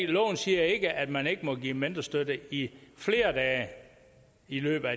loven siger ikke at man ikke må give mentorstøtte i flere dage i løbet af